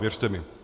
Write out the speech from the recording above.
Věřte mi.